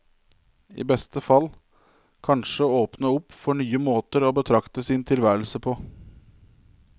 I beste fall kanskje åpne opp for nye måter å betrakte sin tilværelse på.